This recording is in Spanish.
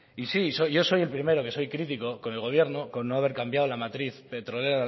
y sí soy yo yo soy el primero que soy crítico con el gobierno con no haber cambiado la matriz petrolera